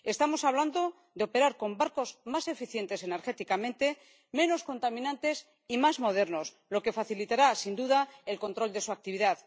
Estamos hablando de operar con barcos más eficientes energéticamente, menos contaminantes y más modernos, lo que facilitará, sin duda, el control de su actividad.